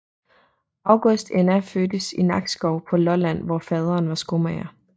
August Enna fødtes i Nakskov på Lolland hvor faderen var skomager